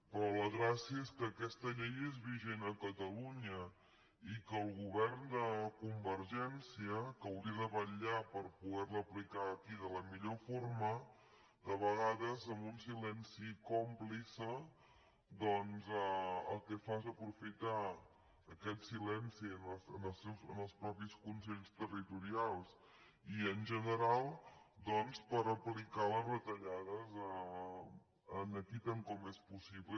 però la gràcia és que aquesta llei és vigent a catalunya i que el govern de convergència que hauria de vetllar per poder la aplicar aquí de la millor forma de vegades amb un silenci còmplice el que fa és aprofitar aquest silenci en els mateixos consells territorials i en general per aplicar la retallada aquí tant com és possible